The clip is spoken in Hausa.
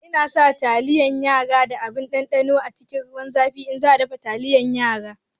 Ina sa taliyar yara da abin ɗanɗanon ta cikin ruwan zafi in za a dafa taliyar yara